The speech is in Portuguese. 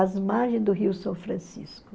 Às margens do Rio São Francisco.